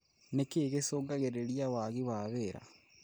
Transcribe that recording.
Nĩ kĩĩ gĩcungagĩrĩria wagi wa wĩra?